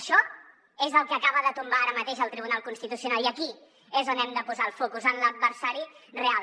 això és el que acaba de tombar ara mateix el tribunal constitucional i aquí és on hem de posar el focus en l’adversari real